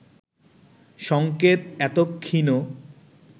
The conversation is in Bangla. সংকেত এত ক্ষীণ